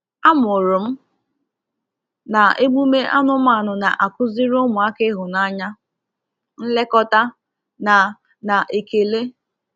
A mụrụ m na emume anụmanụ na-akụziri ụmụaka ịhụnanya, nlekọta, na na ekele.